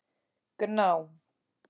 Gná